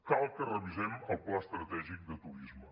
cal que revisem el pla estratègic de turisme